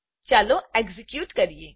ચાલો એક્ઝેક્યુટ કરીએ